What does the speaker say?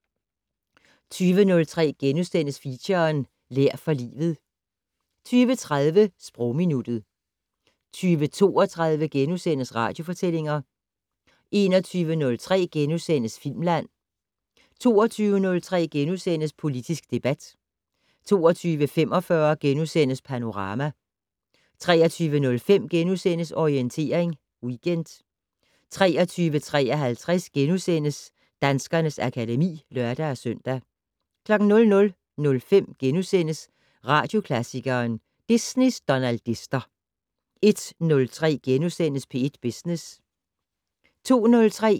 20:03: Feature: Lær for livet * 20:30: Sprogminuttet 20:32: Radiofortællinger * 21:03: Filmland * 22:03: Politisk debat * 22:45: Panorama * 23:05: Orientering Weekend * 23:53: Danskernes akademi *(lør-søn) 00:05: Radioklassikeren: Disneys donaldister * 01:03: P1 Business *